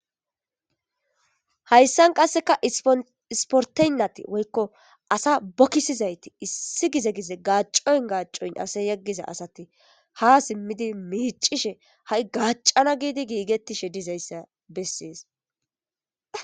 Hayssan qasseka ispporte woy Asa bokisizayti loohishe issi issi gize gachon gachoni gachoni Yegiza asati Ha simidi miccishe Ha'i gacana gidi gigetishe Dizaysa beses